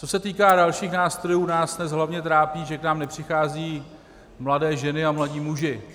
Co se týká dalších nástrojů, nás dnes hlavně trápí, že k nám nepřicházejí mladé ženy a mladí muži.